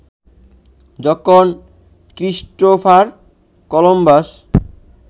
যখন Christopher Columbus